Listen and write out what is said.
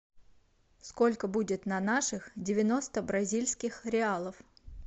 сколько будет на наших девяносто бразильских реалов